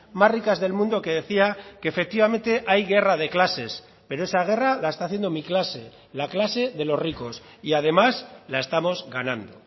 más ricas del mundo que decía que efectivamente hay guerra de clases pero esa guerra la está haciendo mi clase la clase de los ricos y además la estamos ganando